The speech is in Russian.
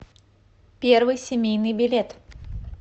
первый семейный билет